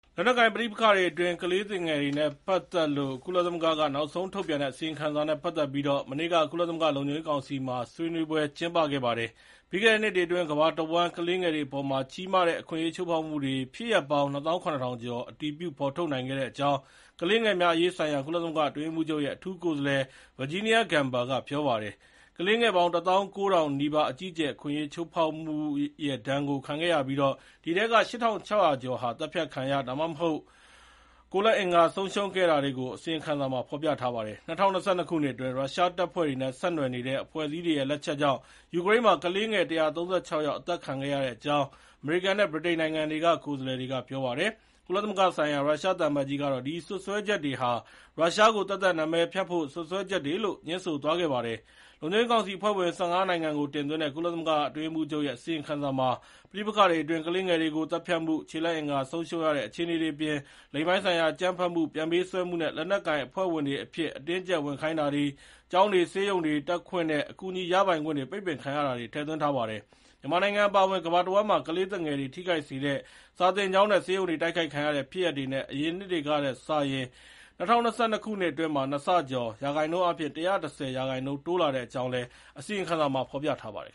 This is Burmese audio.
လက်နက်ကိုင် ပဋိပက္ခတွေအတွင်း ကလေးသူငယ်တွေနဲ့ပတ်သက်လို့ ကုလသမဂ္ဂက နောက်ဆုံးထုတ်ပြန်တဲ့ အစီရင်ခံစာနဲ့ ပတ်သက်ပြီး မနေ့က ကုလသမဂ္ဂလုံခြုံရေးကောင်စီမှာ ဆွေးနွေးပွဲကျင်းပခဲ့ပါတယ်။ ပြီးခဲ့တဲ့နှစ်အတွင်း ကမ္ဘာတဝှမ်း ကလေးငယ်တွေအပေါ် ကြီးမားတဲ့ အခွင့်အရေး ချိုးဖေါက်မှုတွေ ဖြစ်ရပ်ပေါင်း ၂၇၀၀၀ ကျော် အတည်ပြု ဖေါ်ထုတ်နိုင်ခဲ့တဲ့အကြောင်း ကလေးငယ်များအရေးဆိုင်ရာ ကုလသမဂ္ဂအတွင်းရေးမှူးချုပ်ရဲ့ အထူးကိုယ်စားလှယ် Virginia Gamba က ပြောပါတယ်။ ကလေးငယ်ပေါင်း ၁၉၀၀၀ နီးပါး အကြီးအကျယ် အခွင့်အရေး ချိုးဖေါက်မှုရဲ့ ဒဏ်ကို ခံခဲ့ရပြီး အဲဒီထဲက ၈၆၀၀ ကျော်ဟာ သတ်ဖြတ်ခံရ၊ ဒါမှမဟုတ် ကိုယ်လက်အင်္ဂါဆုံးရှုံးခဲ့တာတွေကို အစီရင်ခံစာမှာ ဖေါ်ပြထားပါတယ်။ ၂၀၂၂ ခုနှစ်အတွင်း ရုရှားတပ်ဖွဲ့တွေနဲ့ ဆက်နွယ်နေတဲ့ အဖွဲ့အစည်းတွေရဲ့ လက်ချက်ကြောင့် ယူကရိန်းမှာ ကလေးငယ် ၁၃၆ ယောက် အသတ်ခံခဲ့ရတဲ့အကြောင်း အမေရိကန်နဲ့ ဗြိတိန်နိုင်ငံတွေက ကိုယ်စားလှယ်တွေက ပြောပါတယ်။ ကုလသဂ္ဂဆိုင်ရာ ရုရှားသံအမတ်ကြီးကတော့ ဒီစွပ်စွဲချက်တွေဟာ ရုရှားကို သပ်သပ်နာမည်ဖျက်တဲ့ စွပ်စွဲချက်တွေလို့ ငြင်းဆိုသွားပါတယ်။ လုံခြုံရေးကောင်စီ အဖွဲ့ဝင် ၁၅ နိုင်ငံကို တင်သွင်းတဲ့ ကုလသမဂ္ဂအတွင်းရေးမှူးချုပ်ရဲ့ အစီရင်ခံစာမှာ ပဋိပက္ခတွေအတွင်း ကလေးငယ်တွေကို သတ်ဖြတ်မှု၊ ခြေလက်အင်္ဂါ ဆုံးရှုံးရတဲ့ အခြေအနေတွေအပြင် လိင်ပိုင်းဆိုင်ရာ အကြမ်းဖက်မှု၊ ပြန်ပေးဆွဲမှုနဲ့ လက်နက်ကိုင်အဖွဲ့ဝင်တွေအဖြစ် အတင်းအကြပ် ဝင်ခိုင်းတာတွေ၊ ကျောင်းတွေ ဆေးရုံတွေတက်ခွင့်နဲ့ အကူအညီရပိုင်ခွင့် ပိတ်ပင်ခံရတာတွေ ထည့်သွင်းထားပါတယ်။ မြန်မာနိုင်ငံအပါအဝင် ကမ္ဘာတဝှမ်းမှာ ကလေးသူငယ်တွေ ထိခိုက်စေတဲ့ စာသင်ကျောင်းနဲ့ ဆေးရုံတွေ တိုက်ခိုက်ခံရတဲ့ ဖြစ်ရပ်တွေ အရင်နှစ်တွေကနဲ့ စာရင် ၂၀၂၂ ခုနှစ်အတွင်း နှစ်ဆကျော်၊ ရာခိုင်နှုန်းအားဖြင့် ၁၁၀ ရာခိုင်နှုန်း တိုးလာတဲ့အကြောင်း အစီရင်ခံစာမှာ ဖေါ်ပြထားပါတယ်